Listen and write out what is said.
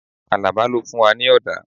Alaba ló fún wa ní ọ̀dà